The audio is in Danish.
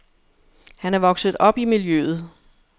Han er vokset op i miljøet.